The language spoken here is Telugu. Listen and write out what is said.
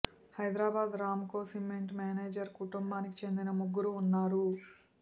Hyderabad Ramco cement manager కుటుంబానికి చెందిన ముగ్గురు వున్నారు